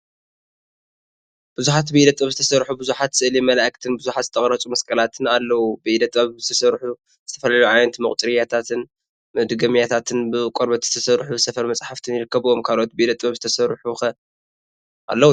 ቡዙሓት ብኢደ ጥበብ ዝተሰርሑ ቡዙሓት ስእሊ መላእክትን ቡዙሓት ዝተቀረፁ መስቀላትን አለው፡፡ ብኢደ ጥበብ ዝተሰርሑ ዝተፈላለዩ ዓይነት መቁፀርያታት/መድገሚያታትን/ ብቆርበት ዝተሰርሑ ሰፈር መፅሓፍትን ይርከቡዎም፡፡ ካልኦት ብኢደ ጥበብ ዝተሰርሑ ኸ አለው ዶ?